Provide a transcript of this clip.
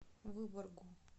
выборгу